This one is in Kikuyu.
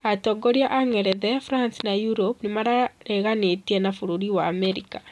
Atongoria a Ngerethe ,France na Europe nĩmareganĩte na bũrũri wa Amerika